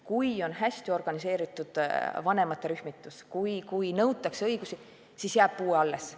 Kui on hästi organiseeritud vanemate rühmitus ja kui nõutakse õigusi, siis jääb puudeaste alles.